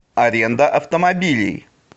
аренда автомобилей